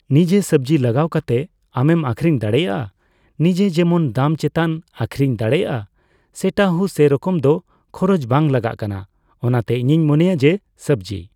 ᱱᱤᱡᱮ ᱥᱚᱵᱽᱡᱤ ᱞᱟᱜᱟᱣ ᱠᱟᱛᱮ ᱟᱢᱮᱢ ᱟᱹᱠᱷᱨᱤᱧ ᱫᱟᱲᱮᱭᱟᱜᱼᱟ᱾ ᱱᱤᱡᱮ ᱡᱮᱢᱚᱱ ᱫᱟᱢ ᱪᱮᱛᱟᱱ ᱟᱹᱠᱷᱨᱤᱧ ᱫᱟᱲᱮᱭᱟᱜᱼᱟ ᱾ ᱥᱮᱴᱟ ᱦᱩᱸ ᱥᱮᱨᱚᱠᱚᱢ ᱫᱚ ᱠᱷᱚᱨᱚᱪ ᱵᱟᱝ ᱞᱟᱜᱟᱜ ᱠᱟᱱᱟ᱾ ᱚᱱᱟᱛᱮ ᱤᱧᱤᱧ ᱢᱚᱱᱮᱭᱟ ᱡᱮ ᱥᱚᱵᱽᱡᱤ